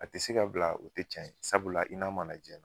A te se ka bila o te cɛn ye. Sabula i n'a ma na jiɲɛ na.